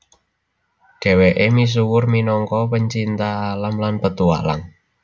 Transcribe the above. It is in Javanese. Dheweke misuwur minangka pecinta alam lan petualang